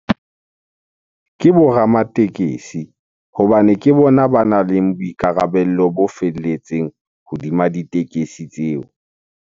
Ke bo ramatekesi hobane ke bona banang le boikarabelo bo felletseng hodima ditekesi tseo.